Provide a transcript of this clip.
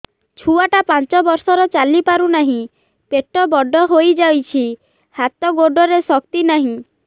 ଛୁଆଟା ପାଞ୍ଚ ବର୍ଷର ଚାଲି ପାରୁ ନାହି ପେଟ ବଡ଼ ହୋଇ ଯାଇଛି ହାତ ଗୋଡ଼ରେ ଶକ୍ତି ନାହିଁ